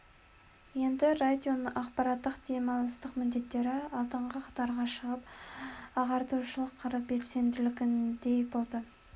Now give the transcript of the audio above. енді радионың ақпараттық демалыстық міндеттері алдыңғы қатарға шығып ағартушылық қыры бәсеңсігендей болды